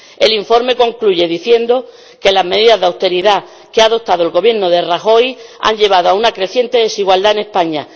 El informe concluye diciendo que las medidas de austeridad que ha adoptado el Gobierno de Rajoy han llevado a una creciente desigualdad en España.